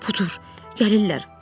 Pudur, gəlirlər.